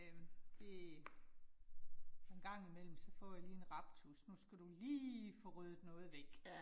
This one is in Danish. Øh det en gang imellem så får jeg lige en raptus, nu skal du lige få ryddet noget væk